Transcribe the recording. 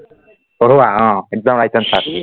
পঢ়োৱা অ একদম right answer